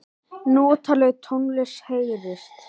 Notaleg tónlist heyrist.